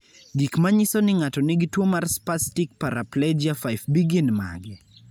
Gik manyiso ni ng'ato nigi tuwo mar Spastic paraplegia 5B gin mage?